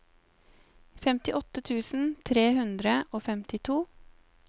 femtiåtte tusen tre hundre og femtito